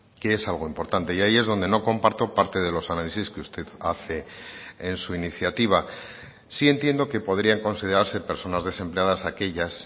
que es algo importante y ahí es donde no comparto parte de los análisis que usted hace en su iniciativa sí entiendo que podrían considerarse personas desempleadas aquellas